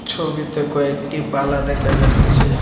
ছবিতে কয়েকটি বালা দেখা যাচ্ছে।